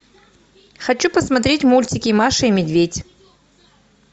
хочу посмотреть мультики маша и медведь